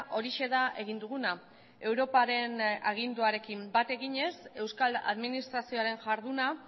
horixe da egin duguna europaren aginduarekin bat eginez euskal administrazioaren jarduna